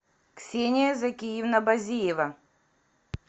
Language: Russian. ксения закиевна базиева